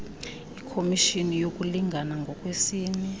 ikhomishini yokulingana ngokwesini